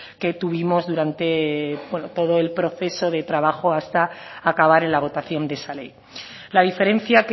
que tuvimos durante todo el proceso de trabajo hasta acabar en la votación de esa ley la diferencia